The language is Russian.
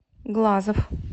глазов